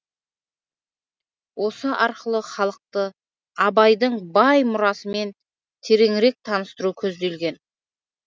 осы арқылы халықты абайдың бай мұрасымен тереңірек таныстыру көзделген